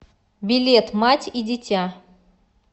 билет мать и дитя